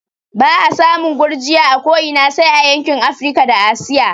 Ba'a samun gurgiya a ko ina sai a yankin Afrika da Asiya